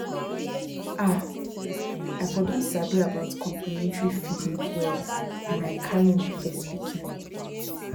ah i for don sabi about complementary feeding well when i carry my first pikin